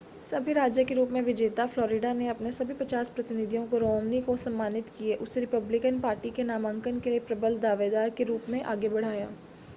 सभी राज्य के रूप में विजेता फ़्लोरिडा ने अपने सभी पचास प्रतिनिधियों को रोमनी को सम्मानित किए उसे रिपब्लिकन पार्टी के नामांकन के लिए प्रबल दावेदार के रूप में आगे बढ़ाया